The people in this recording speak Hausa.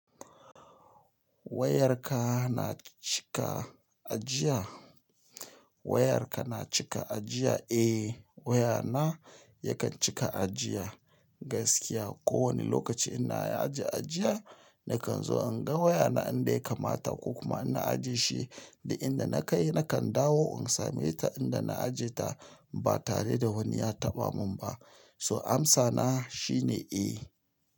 Wayarka na cika ajiya? Wayarka na cika ajiya? Eh, wayana yakan cika ajiya gaskiya. Ko wani lokaci ina aje ajiya, nakan zo in ga wayana inda ya kamata, ko kuma ina ajiye shi da inda na kai nakan dawo in same ta inda na aje ta ba tare da wani ya taɓa mun ba. So amsana shine eh.